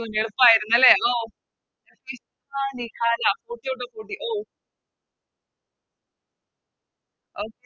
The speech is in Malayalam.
Okay എളുപ്പയിരുന്നല്ലെ ഓ ഓ Okay okay